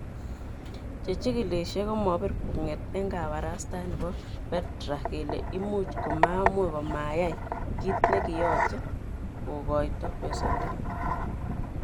Chechikilishe komobirkwo'nget eng kabarastaet nebo Petra kele imuch komamuch komayai kit nekiyoche kongoito besendo.